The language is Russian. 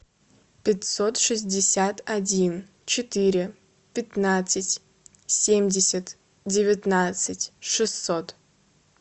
пятьсот шестьдесят один четыре пятнадцать семьдесят девятнадцать шестьсот